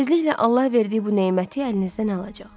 Tezliklə Allah verdiyi bu neməti əlinizdən alacaq.